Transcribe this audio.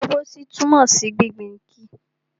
Ìdágbósí túmọ̀ sí gbingbin igi.